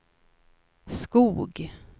Skog